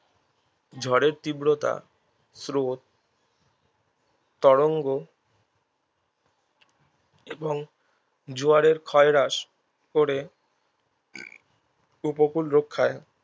ঝড়ের তীব্রতা স্রোত তরঙ্গ এবং জোয়ারের ক্ষয়হ্রাস করে উপকূল রক্ষায়